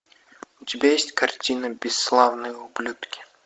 у тебя есть картина бесславные ублюдки